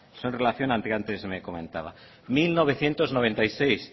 son relaciones que antes me comentaba mil novecientos noventa y seis